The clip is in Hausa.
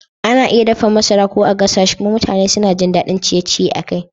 Ana iya dafa masara ko a gasa shi kuma mutane suna jin daɗin ciye-ciye a kai.